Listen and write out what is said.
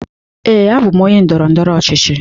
Ee, abụm onye ndọrọ ndọrọ ọchịchị.